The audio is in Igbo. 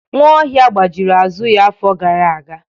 Nwaohia gbajiri azụ ya afọ gara aga.